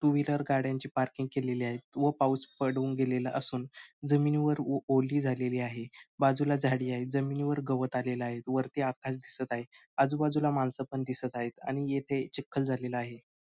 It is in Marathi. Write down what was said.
टू व्हीलर गाड्यांची पार्किंग केलेली आहे व पाऊस पडून गेलेला असून जमिनीवर ओ ओली झालेली आहे बाजूला झाडी आहेत जमिनीवर गवत आलेल आहे वरती आकाश दिसत आहे आजूबाजूला माणस पण दिसत आहेत आणि येथे चिखल झालेला आहे.